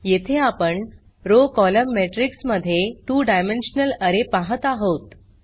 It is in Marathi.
येथे आपण रॉव कोलम्न मॅट्रिक्स मध्ये 2 डायमेन्शनल अरे पाहत आहोत